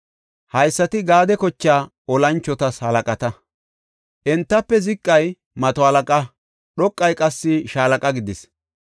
Haysati Gaade kochaa olanchotas halaqata. Entafe ziqay mato halaqa; dhoqay qassi shaalaqa gidis.